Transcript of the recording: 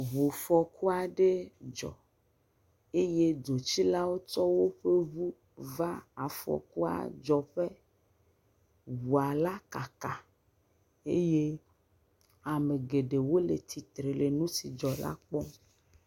Ŋufɔku aɖe dzɔ eye dzotsilawo tsɔ woƒe ŋu va afɔkua dzɔƒe. Ŋua la kaka eye ame geɖee le tsitre le nu si dzɔ la kpɔm.